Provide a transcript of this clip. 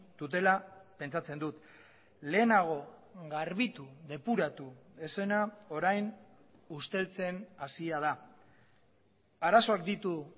dutela pentsatzen dut lehenago garbitu depuratu ez zena orain usteltzen hasia da arazoak ditu